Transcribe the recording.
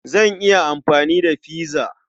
Zan iya amfani da pizza.